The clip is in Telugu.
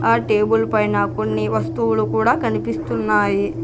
ఆ టేబుల్ పైన కొన్ని వస్తువులు కూడా కనిపిస్తున్నాయి.